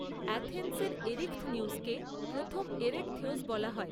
অ্যাথেন্সের এরিখথনিউসকে প্রথম এরেখথেউস বলা হয়।